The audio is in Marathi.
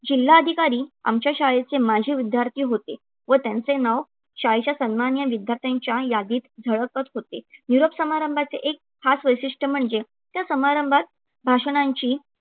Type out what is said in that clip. जिल्हाधिकारी आमच्या शाळेचे माजी विद्यार्थी होते व त्यांचे नाव शाळेच्या सन्माननीय विद्यार्थ्यांच्या यादीत झळकत होते. निरोप समारंभाचे एक खास वैशिष्ट्य म्हणजे त्या समारंभात भाषणांची